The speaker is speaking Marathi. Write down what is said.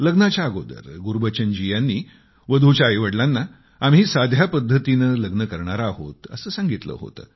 लग्नाच्या अगोदर गुरबचन जी यांनी वधूच्या आई वडलाना लग्न आम्ही साध्या पद्धतीने करणार आहोत असे सांगितले होते